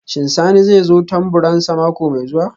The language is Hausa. Shin Sani zai kawo tamburansa mako mai zuwa?